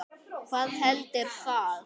Hvað heldur það?